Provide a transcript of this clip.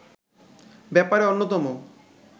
ব্যাপারে অন্যতম